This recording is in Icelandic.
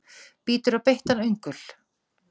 Bítur á beittan öngul.